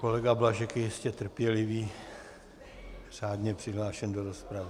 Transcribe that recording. Kolega Blažek je jistě trpělivý, řádně přihlášen do rozpravy.